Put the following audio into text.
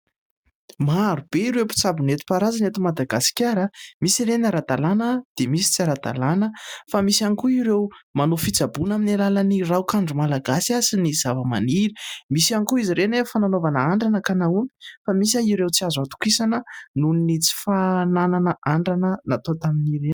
Maro be ireo mpitsabo netim-paharazana eto Madagasikara misy ireny ara-dalàna dia misy tsy ara-dalàna fa misy ihany koa ireo manao fitsaboana amin'ny alalan'ny raokandro malagasy sy ny zava-maniry misy ihany koa izy ireny efa nanaovana andrana ka nahomby fa misy ireo tsy azo hatokisana nohon'ny tsy fananana andrana natao tamin'ireny